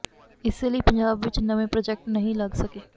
ਇਸੇ ਲਈ ਪੰਜਾਬ ਵਿਚ ਨਵੇਂ ਪ੍ਰਾਜੈਕਟ ਨਹੀਂ ਲੱਗ ਸਕੇ